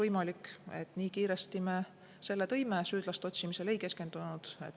Aga me tõime selle siia kiiresti ja süüdlaste otsimisele ei keskendunud.